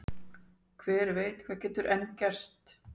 Hver veit hvað getur enn gerst?